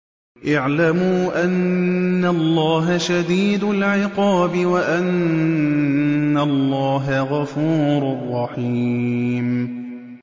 اعْلَمُوا أَنَّ اللَّهَ شَدِيدُ الْعِقَابِ وَأَنَّ اللَّهَ غَفُورٌ رَّحِيمٌ